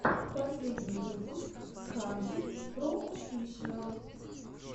последний выпуск хандридпроофишиал